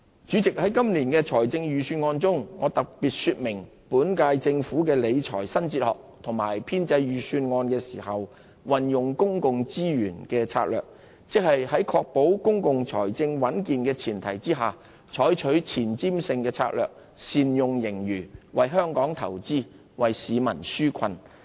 主席，在今年的預算案中，我特別說明本屆政府的理財新哲學和編製預算案時運用公共資源的策略，即在確保公共財政穩健的前提下，採取前瞻性的策略，善用盈餘，為香港投資，為市民紓困。